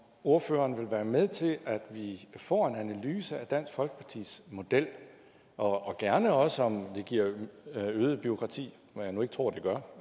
ordføreren vil være med til at vi får en analyse af dansk folkepartis model og gerne også om det giver øget bureaukrati hvad jeg nu ikke tror det gør